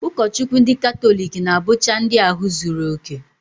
Ụkọchukwu ndị katọlik na-abụcha ndị ahụ zuru okè